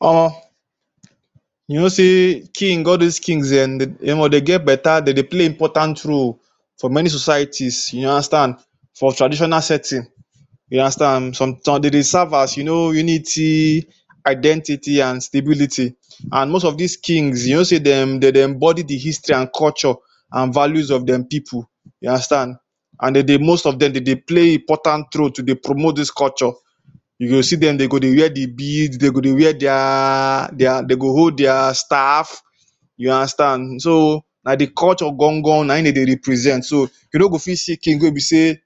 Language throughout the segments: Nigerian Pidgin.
Omoh, you know sey king all dos kings um de must dey get beta de dey play important role for many societies, you understand, for traditional setting, you understand. Some um de dey serve as you know unity, identity, an stability. An most of dis kings you know sey dem de dey embody the history an culture an values of dem pipu. You understand. An de dey most of dem de dey play important role to dey promote dis culture. You go see dem, de go dey wear the bead, de go dey wear dia de go hold dia staff. You understand. So, na the culture gangan na ein de dey represent. So, you no go fit see king wey be sey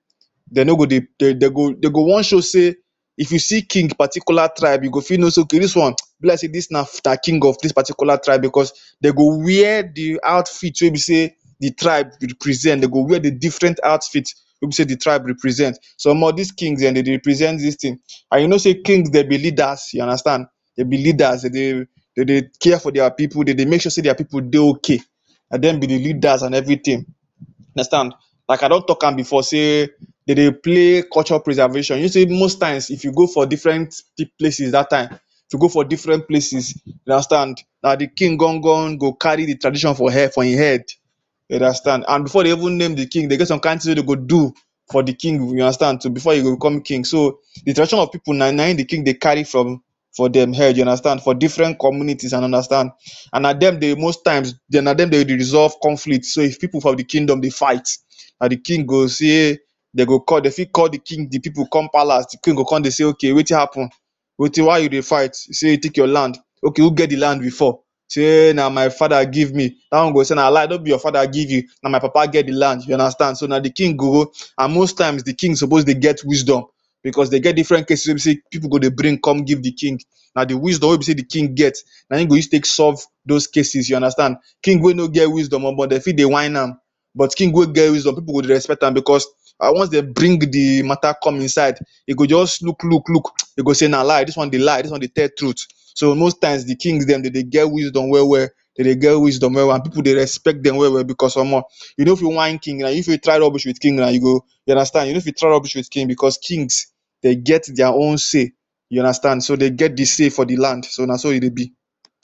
de no go dey de de go de go wan show sey if you see king particular tribe, you go fit know sey okay dis one, be like sey dis na na king of dis particular tribe becos de go wear the outfit wey be sey the tribe represent. De go wear the different outfit wey be sey the tribe represent. Some of dis kings um de dey represent dis tin. An you know sey kings de be leaders. You understand. De be leaders. De dey de dey care for dia pipu de dey make sure sey dia pipu dey okay, na dem be the leaders an everything. Understand. Like I don talk am before sey de dey play culture preservation. You know sey most if you go for different p places dat time, if you go for different places, you understand, na the king gangan go carry the tradition for hair for ein head. You understand. An before de even name the king, dey get some kain tin wey de go do for the king, you understand too before e go become king. So, the tradition of pipu na na ein the king dey carry from for dem head you understand, for different communities, an understand. An na dem dey most times dem na dem de dey resolve conflict. So if pipu for the kingdom dey fight, um the king go say de go call de fit call king the pipu come palace. King go con dey say okay wetin happen? why you dey fight? You say e take your land. Okay, who get the land before? Say na my father give me. Dat one go say na lie, no be your father give you, na my papa get the land. You understand. So, na the king go An most times, the king suppose dey get wisdom becos se get different get cases wey be sey pipu go dey bring come give the king. Na the wisdom wey be sey the king get na ein e go use take solve dos cases. You understand. King wey no get wisdom, omoh de fit dey whine am, but king wey get wisdom, pipu go dey respect am becos once de bring the matter come ein side, e go juz look look look, e go say na lie. Dis one be lie, dis one dey tell truth. So, most times, the kings dem de dey get wisdom well-well. De dey get wisdom well-well an pipu dey respect dem well-well becos omoh, you no fit whine king na, you no fit try rubbish with king na, you go, you understand. You no fit try rubbish with kings becos kings de get dia own say. You understand. So, de get the say for the land, so na so e dey be.